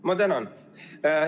Ma tänan!